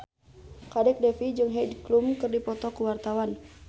Kadek Devi jeung Heidi Klum keur dipoto ku wartawan